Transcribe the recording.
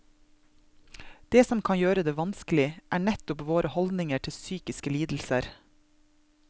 Det som kan gjøre det vanskeligere, er nettopp våre holdninger til psykiske lidelser.